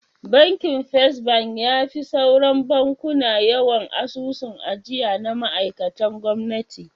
Bakin First bank yafi sauran bankuna yawan asusun ajiya na ma'aikan gwamnati.